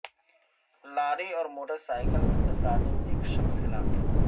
لاری اور motorcycle میں تصادم ایک شخص ہلاک